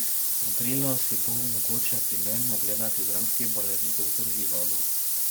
Aprila si bo mogoče premierno ogledati dramski balet Doktor Živago.